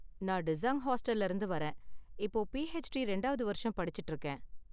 நான் டிஸாங் ஹாஸ்டல்ல இருந்து வரேன், இப்போ பிஹெச்டி ரெண்டாவது வருஷம் படிச்சுட்டு இருக்கேன்